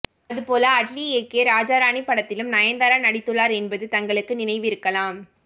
அதுபோல அட்லி இயக்கிய ராஜா ராணி படத்திலும் நயன்தாரா நடித்துள்ளார் என்பது தங்களுக்கு நினைவிருக்கலாம்